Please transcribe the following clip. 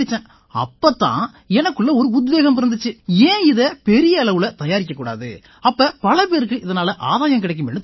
அப்பத்தான் எனக்குள்ள ஒரு உத்வேகம் பிறந்திச்சு ஏன் இதை பெரிய அளவுல தயாரிக்க கூடாது அப்ப பல பேர்களுக்கு இதனால ஆதாயம் கிடைக்குமேன்னு தோணிச்சு